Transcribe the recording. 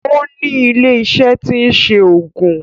O ní ilé iṣẹ́ tí ń se oògùn